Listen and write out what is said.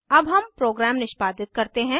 अब हम प्रोग्राम निष्पादित करते हैं